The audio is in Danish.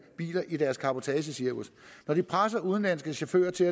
biler i deres cabotagecirkus og når de presser udenlandske chauffører til